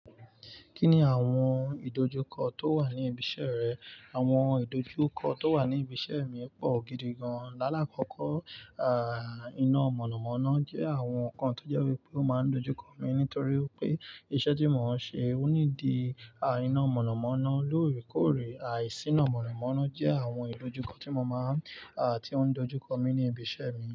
Kí ni àwọn ìdojúkọ tó wà ní ibi iṣẹ́ rẹ? Àwọn ìdojúkọ tó wà ní ibi iṣẹ́ mi pọ̀ gidi gan. Lálákọkọ́, iná mọ̀nàmọ́ná jẹ́ àwọn nǹkan tó jẹ́ wípé ó máa ń dojúkọ mi nítorí pé iṣẹ́ tí mò ń ṣe ó ní di, iná mọ̀nàmọ́ná lóòrèkóòrè. Ah, ìsíná mọ̀nàmọ́ná jẹ́ àwọn ìdojúkọ tí mo máa ń, ah, tí ó ń dojúkọ mi ní ibi iṣẹ́ mi.